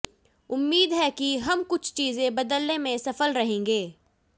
उम्मीद है कि हम कुछ चीजें बदलने में सफल रहेंगे